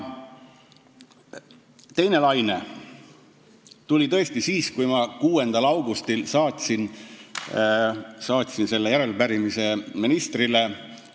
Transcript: Teine laine tuli tõesti siis, kui ma 6. augustil saatsin järelepärimise ministrile.